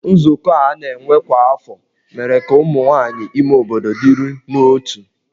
Nzukọ a na-enwe kwa afọ mere ka ụmụ nwaanyị ime obodo dịrị n'otu.